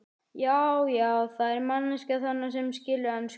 Já, já, það er manneskja þarna sem skilur ensku!